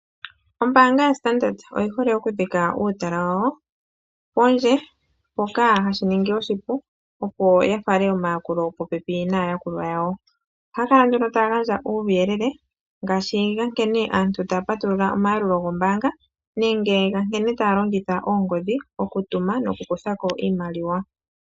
Ombaanga yaStandard oyi hole okudhengela uutala wawo pondje, shoka shi li omukalo omupu gwokufala omayakulo popepi naayakulwa yawo. Ohaya kala nduno taya gandja uuyelele ngaashi wa nkene aantu ye na okupatulula omayakulo gombaanga, nenge ga nkene taya longitha oongodhi, mokutuma nokukutha ko iimaliwa.